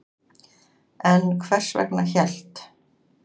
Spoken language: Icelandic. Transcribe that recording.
En hvers vegna hélt